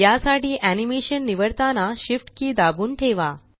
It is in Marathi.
या साठी एनीमेशन निवडताना Shift की दाबून ठेवा